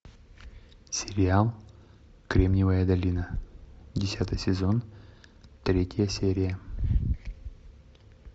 сериал кремниевая долина десятый сезон третья серия